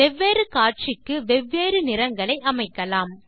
வெவ்வேறு காட்சிக்கு வெவ்வேறு நிறங்களை அமைக்கலாம்